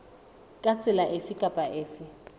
ka tsela efe kapa efe